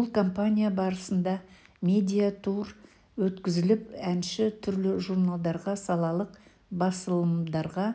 бұл компания барысында медиа-тур өткізіліп әнші түрлі журналдарға салалық басылымдарға